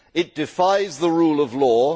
it defies the rule of law